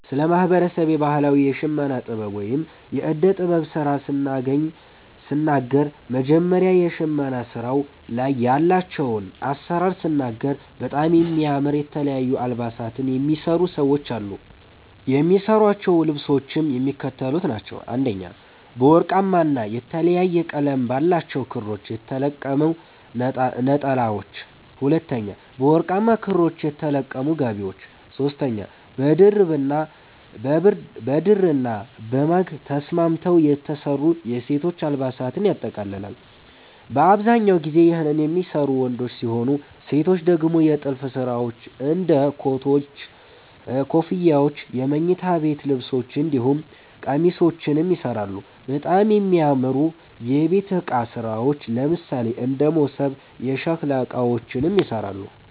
ስለ ማህበረሰቤ ባህላዊ የሽመና ጥበብ ወይም የእደ ጥበብ ስራ ስናገር መጀመሪያ በሸመና ስራዉ ላይ ያላቸዉን አሰራር ስናገር በጣም የሚያምር የተለያዩ አልባሳትን የሚሰሩ ሰዎች አሉ። የሚሰሯቸዉ ልብሶችም የሚከተሉት ናቸዉ፦ 1) በወርቃማ ና የተለያየ ቀለም ባላቸዉ ክሮች የተለቀሙ ነጠላዎች፤ 2)በወርቃማ ክሮች የተለቀሙ ጋቢዎች፤ 3)በድርና በማግ ተስማምተዉ የተሰሩ የሴቶች አልባሳትን ያጠቃልላል። በአብዛኛው ጊዜ ይህን የሚሰሩት ወንዶች ሲሆኑ ሴቶች ደግሞ የጥልፍ ስራዎች እንደ ኮቶች, ኮፍያዎች የመኝታ ቤት ልብሶች እንዲሁም ቄሚሶችንም ይሰራሉ፣ በጣም የሚያምሩ የቤት እቃ ስራዎች ለምሳሌ እንደ መሶብ፣ የሸከላ እቃዎችንም ይሰራሉ።